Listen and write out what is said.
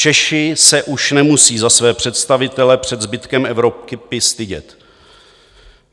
Češi se už nemusí za své představitele před zbytkem Evropy stydět.